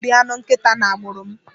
A naghi eri anụ nkịta n'agbụrụ m.